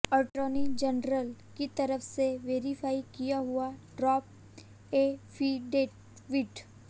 attorney general की तरफ से वेरीफाई किया हुआ ड्राफ्ट एफिडेविट